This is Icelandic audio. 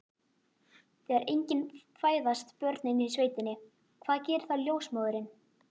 Þegar engin fæðast börnin í sveitinni, hvað gerir þá ljósmóðirin?